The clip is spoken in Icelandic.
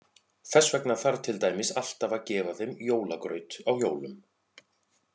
Þess vegna þarf til dæmis alltaf að gefa þeim jólagraut á jólum.